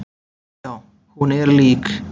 Já, hún er lík.